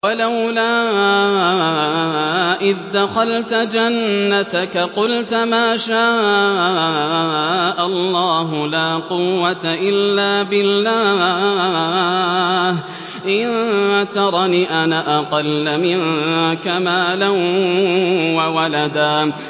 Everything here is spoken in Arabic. وَلَوْلَا إِذْ دَخَلْتَ جَنَّتَكَ قُلْتَ مَا شَاءَ اللَّهُ لَا قُوَّةَ إِلَّا بِاللَّهِ ۚ إِن تَرَنِ أَنَا أَقَلَّ مِنكَ مَالًا وَوَلَدًا